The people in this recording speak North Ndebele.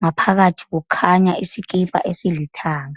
ngaphakathi kukhanya isikipa esilithanga.